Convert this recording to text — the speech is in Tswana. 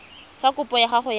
fa kopo ya gago ya